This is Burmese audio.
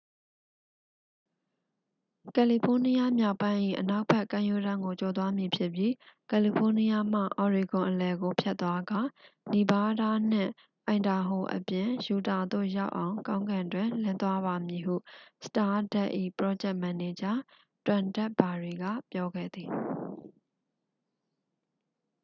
"""ကယ်လီဖိုးနီးယားမြောက်ပိုင်း၏ အနောက်ဘက် ကမ်းရိုးတန်းကို ကျော်သွားမည်ဖြစ်ပြီး ကယ်လီဖိုးနီးယားမှ အော်ရီဂွန်အလယ်ကို ဖြတ်သွားကာ နီဗားဒါးနှင့် အိုင်ဒါဟိုအပြင် ယူတာသို့ ရောက်အောင် ကောင်းကင်တွင် လင်းသွားပါမည်" ဟု စတားဒတ်၏ ပရောဂျက်မန်နေဂျာ တွမ်ဒက်ဘာရီက ပြောခဲ့သည်။